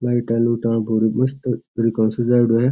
Light लुटा है मस्त तरीके हु सजायेड़ो है।